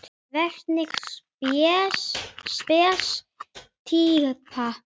Hvernig spes týpa?